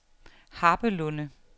Harpelunde